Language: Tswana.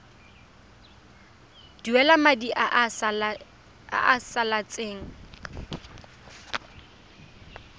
duela madi a a salatseng